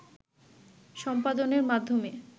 সম্পাদনের মাধ্যমে